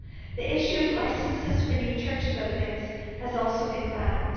The issue of licences for new church buildings has also been banned.